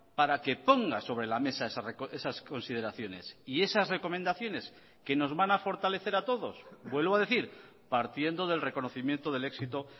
para que ponga sobre la mesa esas consideraciones y esas recomendaciones que nos van a fortalecer a todos vuelvo a decir partiendo del reconocimiento del éxito